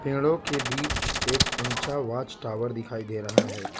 पेड़ों के बीच एक ऊंचा वॉच टावर दिखाई दे रहा है।